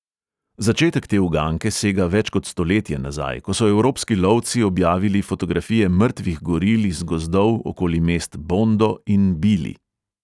Začetek te uganke sega več kot stoletje nazaj, ko so evropski lovci objavili fotografije mrtvih goril iz gozdov okoli mest bondo in bili.